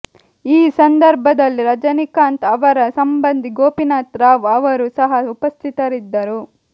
ಈ ಸಂದರ್ಭದಲ್ಲಿ ರಜನಿಕಾಂತ್ ಅವರ ಸಂಬಂಧಿ ಗೋಪಿನಾಥ್ ರಾವ್ ಅವರು ಸಹ ಉಪಸ್ಥಿತರಿದ್ದರು